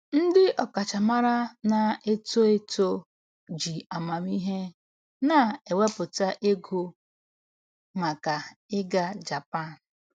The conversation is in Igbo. Ndị ọkachamara na-eto eto ji amamihe na-ewepụta ego maka ịga Japan.